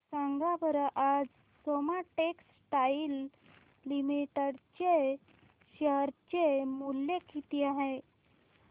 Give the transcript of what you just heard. सांगा बरं आज सोमा टेक्सटाइल लिमिटेड चे शेअर चे मूल्य किती आहे